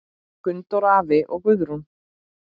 Gunndór afi og Guðrún.